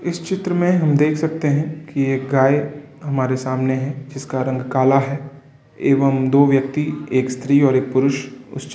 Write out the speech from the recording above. इस चित्र में हमें देख सकते हैं कि एक गाय हमारे सामने है। जिसका रंग काला है एवं दो व्यक्ति एक स्त्री एक पुरुष उस चि --